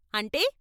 అంటే.